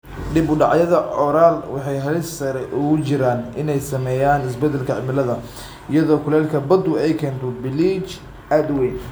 Dib-u-dhacyada Coral waxay halis sare ugu jiraan inay saameeyaan isbeddelka cimilada, iyadoo kulaylka baddu ay keento biliij aad u weyn.